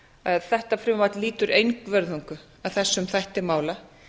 að þetta frumvarp lýtur einvörðungu að þessum þætti mála